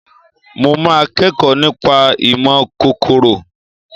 Mo máa kẹ́kọ̀ọ́ nípa ìmọ̀ kòkòrò